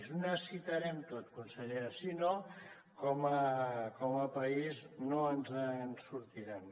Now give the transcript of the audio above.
ho necessitarem tot consellera si no com a país no ens en sortirem